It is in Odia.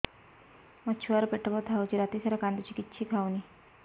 ମୋ ଛୁଆ ର ପେଟ ବଥା ହଉଚି ରାତିସାରା କାନ୍ଦୁଚି କିଛି ଖାଉନି